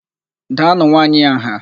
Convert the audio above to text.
Daanụ nwaanyị a nha!